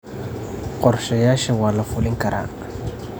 Qorshayaasha waa la fulin karaa.